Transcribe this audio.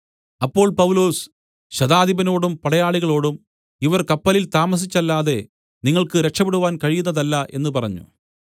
അപ്പോൾ പൗലൊസ് ശതാധിപനോടും പടയാളികളോടും ഇവർ കപ്പലിൽ താമസിച്ചല്ലാതെ നിങ്ങൾക്ക് രക്ഷപെടുവാൻ കഴിയുന്നതല്ല എന്നു പറഞ്ഞു